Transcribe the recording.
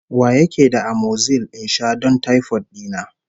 Wa yake da amoxil in sha don taifot dina?